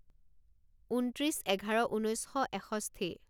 ঊনত্ৰিছ এঘাৰ ঊনৈছ শ এষষ্ঠি